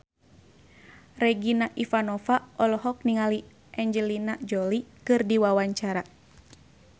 Regina Ivanova olohok ningali Angelina Jolie keur diwawancara